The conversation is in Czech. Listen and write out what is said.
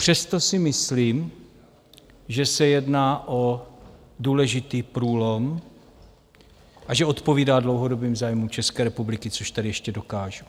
Přesto si myslím, že se jedná o důležitý průlom a že odpovídá dlouhodobým zájmům České republiky, což tady ještě dokážu.